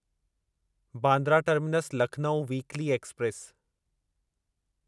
Bandra terminus Lucknow weekly express